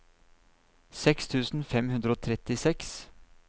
seks tusen fem hundre og trettiseks